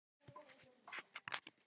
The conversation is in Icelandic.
Ég sótti það mjög fast.